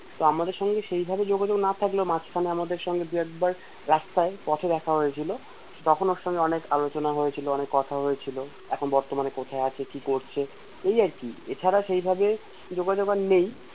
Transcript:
তো আমাদের সঙ্গে সেইভাবে যোগাযোগ না থাকলেও মাঝখানে আমাদের সঙ্গে দুই একবার রাস্তায় পথে দেখা হয়েছিলো তখন ওর সঙ্গে অনেক আলোচনা হয়েছিল অনেক কথা হয়েছিলো এখন বর্তমানে কোথায় আছে কি করছে এই আরকি এছাড়া সেই ভাবে যোগাযোগ আর নেই